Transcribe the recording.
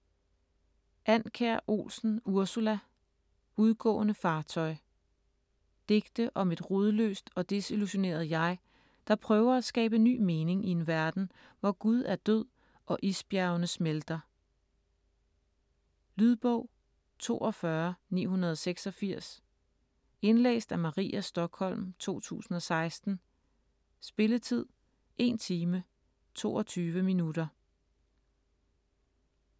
Andkjær Olsen, Ursula: Udgående fartøj Digte om et rodløst og desillusioneret jeg, der prøver at skabe ny mening i en verden, hvor Gud er død og isbjergene smelter. Lydbog 42986 Indlæst af Maria Stokholm, 2016. Spilletid: 1 time, 22 minutter.